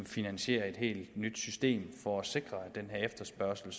finansiere et helt nyt system for at sikre at den her efterspørgsel